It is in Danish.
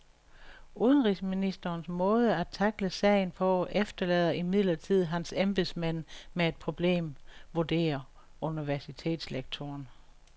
Udenrigsministerens måde at tackle sagen på efterlader imidlertid hans embedsmænd med et problem, vurderer universitetslektoren.